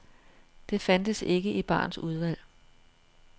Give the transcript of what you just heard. Det fandtes ikke i barens udvalg.